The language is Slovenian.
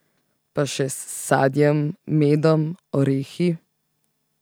Pa še s sadjem, medom, orehi ...